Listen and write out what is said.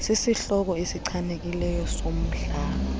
sisihloko esichanekileyo somdlalo